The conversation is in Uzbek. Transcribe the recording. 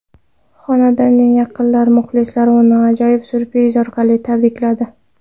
Xonandaning yaqinlari, muxlislari uni ajoyib syurpriz orqali tabrikladi.